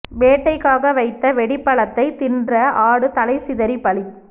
வேட்டைக்காக வைத்த வெடிப் பழத்தைத் தின்ற ஆடு தலை சிதறி பலி